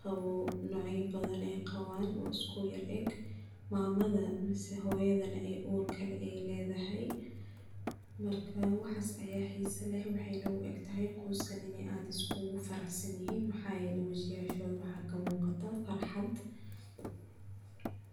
qawo nocya badan ey qawaan oo iskuyara eg mamada mise hooyada ey uur ledahay marka waxas aya xiisa leh wexyna uegtahay qoyskan iney aad iskugu faraxsanyihiin maxayele wajiyashoda waxa kamuqataa farxad.